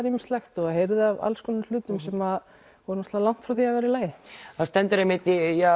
ýmislegt og heyrði af alls konar hlutum sem voru langt frá því að vera í lagi það stendur einmitt